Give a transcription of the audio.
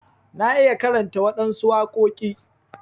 Na iya karanta waɗansu waƙoki.